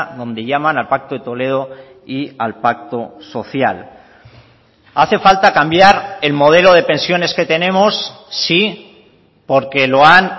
donde llaman al pacto de toledo y al pacto social hace falta cambiar el modelo de pensiones que tenemos sí porque lo han